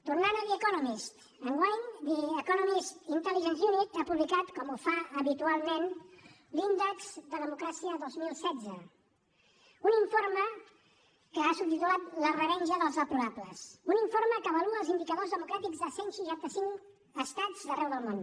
tornant a the economist enguany com ho fa habitualment l’índex de democràcia dos mil setze un informe que ha subtitulat la revenja dels deplorables un informe que avalua els indicadors democràtics de cent i seixanta cinc estats d’arreu del món